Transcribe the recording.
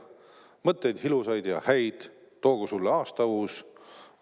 Mõtteid ilusaid ja häid toogu sulle aasta uus!